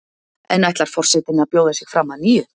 En ætlar forsetinn að bjóða sig fram að nýju?